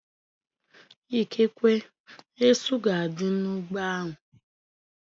Ikekwe, esu ga-adị n'ụgbọ ahu